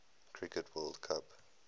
cricket world cup